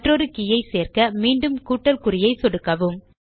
மற்றொரு K I சேர்க்க மீண்டும் கூட்டல் குறியை சொடுக்கவும்